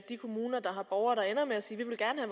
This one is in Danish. kommuner der har borgere der ender med at sige